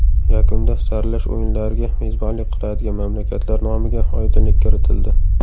Yakunda saralash o‘yinlariga mezbonlik qiladigan mamlakatlar nomiga oydinlik kiritildi.